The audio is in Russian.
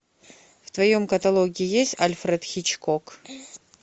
в твоем каталоге есть альфред хичкок